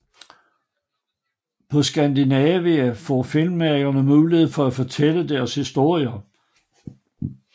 På Skandinavia får filmmagerne muligheden for at fortælle deres historier